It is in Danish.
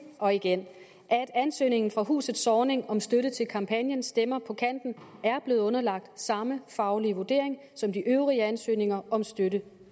og igen at ansøgningen fra huset zornig om støtte til kampagnen stemmer på kanten er blevet underlagt samme faglige vurdering som de øvrige ansøgninger om støtte